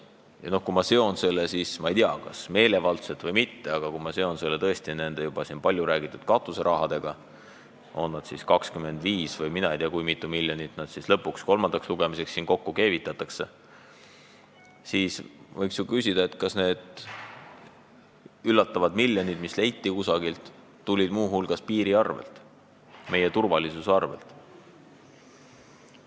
Ja kui ma seon selle, ma ei tea, kas meelevaldselt või mitte, palju räägitud katuserahaga, on seda siis 25 või ma ei tea, kui mitu miljonit lõpuks kolmandaks lugemiseks kokku keevitatakse, siis võiks ju küsida, kas need üllatavad miljonid, mis leiti kusagilt, on muu hulgas tulnud piiri arvelt, meie turvalisuse arvelt.